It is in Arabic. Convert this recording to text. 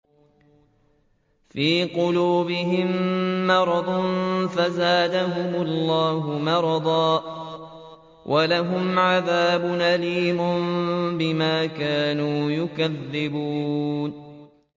فِي قُلُوبِهِم مَّرَضٌ فَزَادَهُمُ اللَّهُ مَرَضًا ۖ وَلَهُمْ عَذَابٌ أَلِيمٌ بِمَا كَانُوا يَكْذِبُونَ